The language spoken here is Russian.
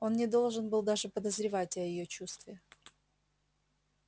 он не должен был даже подозревать о её чувстве